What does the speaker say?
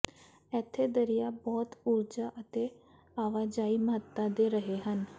ਇੱਥੇ ਦਰਿਆ ਬਹੁਤ ਊਰਜਾ ਅਤੇ ਆਵਾਜਾਈ ਮਹੱਤਤਾ ਦੇ ਰਹੇ ਹਨ